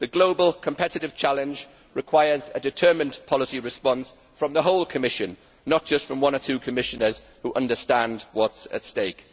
The global competitive challenge requires a determined policy response from the whole Commission, not just from one or two Commissioners who understand what is at stake.